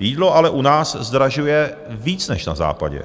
jídlo ale u nás zdražuje víc než na západě.